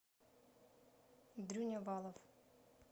дрюня валов